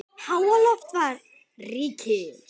Háaloft var ríki